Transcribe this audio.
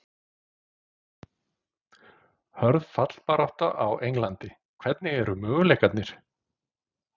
Hörð fallbarátta á Englandi- Hvernig eru möguleikarnir?